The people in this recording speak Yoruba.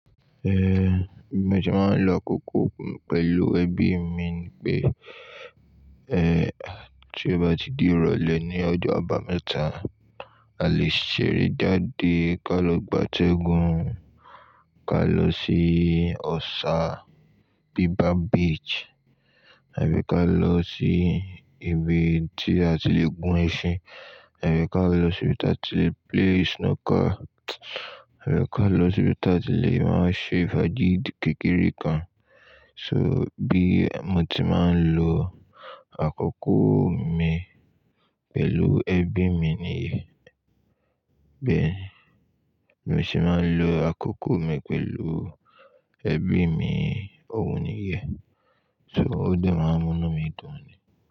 Bí mo se máa ń lo àkókò mi pẹ̀lú ẹbí mi ni pé, tí ó bá ti di ìrọ̀lẹ́ ní ọjọ́ àbámẹ́ta, a lè ṣeré jáde, ká lọ gbátẹ́gùn, ká lọ sí Ọ̀ṣà Bí bar Beach, àbí ká lọ sí ibi tí a ti lè gún ẹṣin, àbí ká lọ sí ibi tí a ti lè play snower, àbí ká lọ sí ibi tí a ti lè máa ṣe ìfájì kékeré kan. So bí mo ti máa ń lo àkókò mi pẹ̀lú ẹbí mi nìyẹn. Bí mo ti máa ń lo àkókò mi pẹ̀lú ẹbí mi, òhun nìyẹn. So ó dé máa ń múnú mi dùn ni.